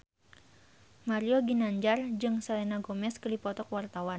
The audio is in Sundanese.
Mario Ginanjar jeung Selena Gomez keur dipoto ku wartawan